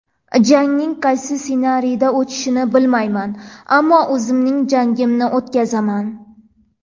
Jangning qaysi ssenariyda o‘tishini bilmayman, ammo o‘zimning jangimni o‘tkazaman.